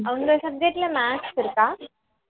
உங்க subject ல maths இருக்கா